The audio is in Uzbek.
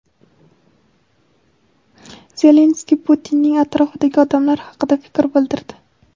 Zelenskiy Putinning atrofidagi odamlar haqida fikr bildirdi:.